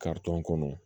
kɔnɔ